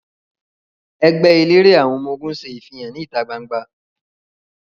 Ẹẹgbẹ elere àwọn ọmọ-ogun ṣe ifihan ni ita gbangba